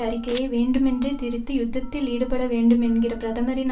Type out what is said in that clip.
அறிக்கையை வேண்டுமென்றே திரித்தி யுத்தத்தில் ஈடுபட வேண்டும் என்கிற பிரதமரின்